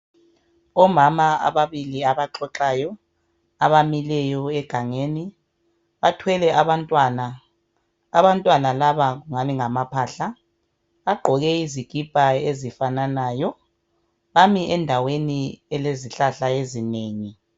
Omama ababili abaxoxayo abamileyo egangeni bathwele abantwana, abantwana laba ngani ngamaphahla bagqoke izikipa ezifananayo bami endaweni elezihlahla ezinengi.